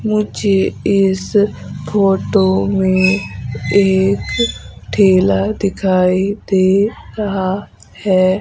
मुझे इस फोटो में एक ठेला दिखाई दे रहा है।